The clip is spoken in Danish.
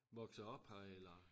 Vokset op her eller